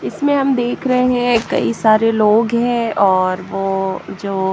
इसमें हम देख रहे हैं कई सारे लोग हैंऔर वो जो--